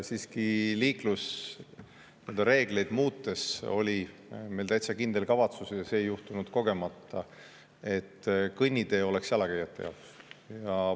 Siiski liiklusreegleid muutes oli meil täitsa kindel kavatsus – see ei juhtunud kogemata –, et kõnnitee oleks jalakäijate jaoks.